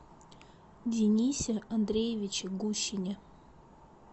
денисе андреевиче гущине